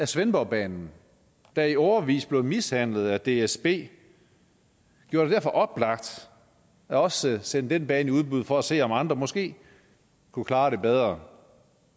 svendborgbanen der i årevis blev mishandlet af dsb gjorde det oplagt også at sende den bane i udbud for at se om andre måske kunne klare det bedre